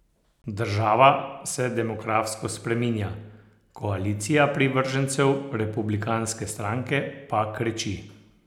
Država se demografsko spreminja, koalicija privržencev republikanske stranke pa krči.